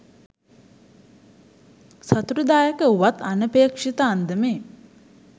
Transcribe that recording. සතුටුදායක වුවත් අනපේක්ෂිත අන්දමේ